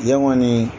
Yan kɔni